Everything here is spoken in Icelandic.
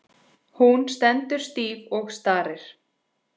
Hún stendur stíf og starir.